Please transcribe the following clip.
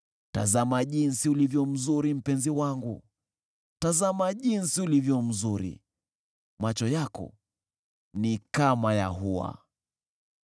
Tazama jinsi ulivyo mzuri, mpenzi wangu! Tazama jinsi ulivyo mzuri! Macho yako ni kama ya hua.